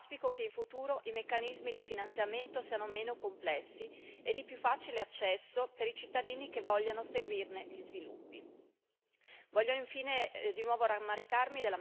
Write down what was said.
Al fine di raggiungere gli obiettivi strategici, quindi, auspico che in futuro i meccanismi di finanziamento siano meno complessi e di più facile accesso per i cittadini che vogliano seguirne gli sviluppi.